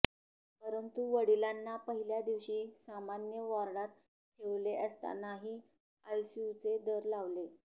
परंतु वडिलांना पहिल्या दिवशी सामान्य वॉर्डात ठेवले असतानाही आयसीयूचे दर लावले